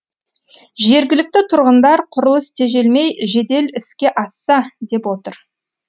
жергілікті тұрғындар құрылыс тежелмей жедел іске асса деп отыр